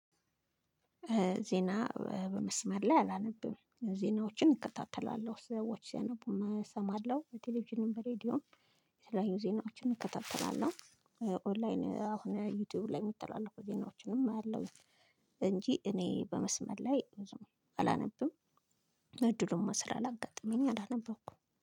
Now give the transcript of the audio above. ዜና በመስመር ላይ አላነብም ዜናዎችን እከታተላለሁ ሰዎች ሲያነቡ እሰማለሁ በቴሌቪዥን በሬዲዮ የተለያዩ ዜናዎችን እከታተላለሁ። ኦንላይን አሁን ዩቲዩብ ላይ የሚተላለፉ ዜናዎችንም እከታተላለሁ። እንጂ እኔ በመስመር ላይ አላነብም። እድሉም ስላላጋጠመኝ እኔ አላነበውኩም